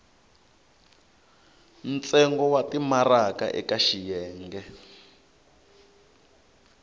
ntsengo wa timaraka eka xiyenge